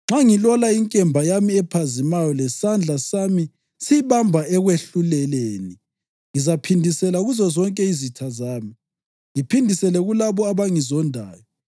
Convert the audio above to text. nxa ngilola inkemba yami ephazimayo lesandla sami siyibamba ekwehluleleni, ngizaphindisela kuzozonke izitha zami, ngiphindisele kulabo abangizondayo.